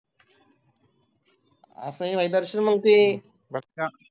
असं नाही मग दर्शन ते बस का